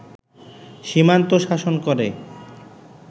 সীমান্ত শাসন করে